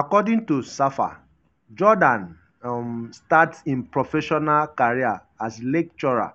according tosafa jordaan um start im professional career as lecturer